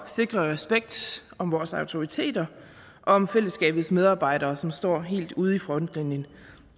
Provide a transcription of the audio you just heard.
sikre respekt om vores autoriteter og om fællesskabets medarbejdere som står helt ude i frontlinjen